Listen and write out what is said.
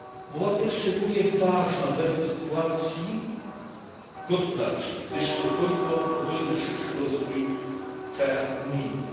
Umowa ta jest szczególnie ważna w obecnej sytuacji gospodarczej, gdyż pozwoli na szybszy rozwój w krajach unijnych.